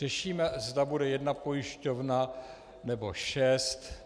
Řešíme, zda bude jedna pojišťovna, nebo šest.